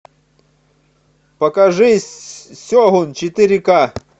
покажи сегун четыре ка